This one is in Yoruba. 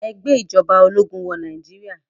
Ẹ gbé ìjọba ológun wọ Nàìjíríà.